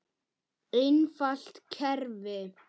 Einfalt kerfi.